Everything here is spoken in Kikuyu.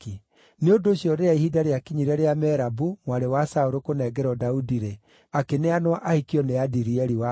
Nĩ ũndũ ũcio rĩrĩa ihinda rĩakinyire rĩa Merabu, mwarĩ wa Saũlũ kũnengerwo Daudi-rĩ, akĩneanwo ahikio nĩ Adirieli wa Mehola.